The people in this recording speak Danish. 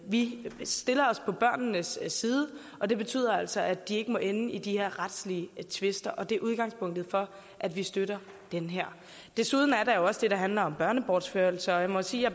vi stiller os på børnenes side og det betyder altså at de ikke må ende i de her retslige tvister og det er udgangspunktet for at vi støtter det her desuden er der jo også det der handler om børnebortførelser og jeg må sige at